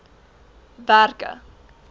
werke